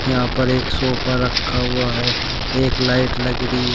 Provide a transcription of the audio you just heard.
यहां पर एक सोफा रखा हुआ है एक लाइट लग रही है।